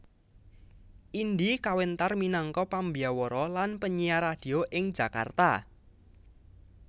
Indy kawentar minangka pambyawara lan penyiar radio ing Jakarta